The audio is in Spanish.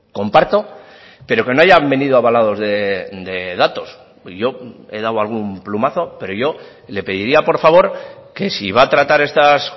comparto pero que no hayan venido avalados de datos yo he dado algún plumazo pero yo le pediría por favor que si va a tratar estas